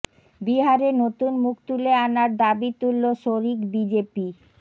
বিহারে নতুন মুখ তুলে আনার দাবি তুলল শরিক বিজেপি